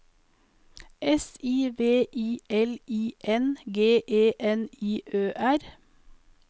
S I V I L I N G E N I Ø R